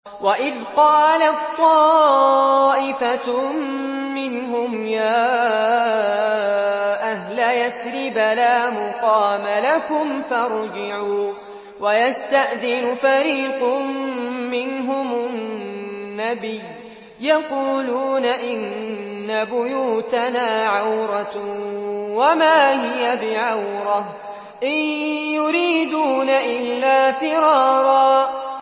وَإِذْ قَالَت طَّائِفَةٌ مِّنْهُمْ يَا أَهْلَ يَثْرِبَ لَا مُقَامَ لَكُمْ فَارْجِعُوا ۚ وَيَسْتَأْذِنُ فَرِيقٌ مِّنْهُمُ النَّبِيَّ يَقُولُونَ إِنَّ بُيُوتَنَا عَوْرَةٌ وَمَا هِيَ بِعَوْرَةٍ ۖ إِن يُرِيدُونَ إِلَّا فِرَارًا